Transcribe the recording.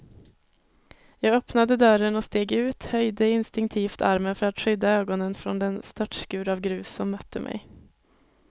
Jag öppnade dörren och steg ut, höjde instinktivt armen för att skydda ögonen från den störtskur av grus som mötte mig.